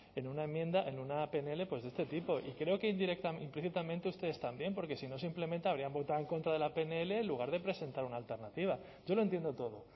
en una enmienda en una pnl de este tipo y creo que implícitamente ustedes también porque si no simplemente habrían votado en contra de la pnl en lugar de presentar una alternativa yo lo entiendo todo